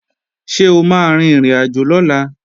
Ṣé o máa rin ìrìnàjò lọ́la?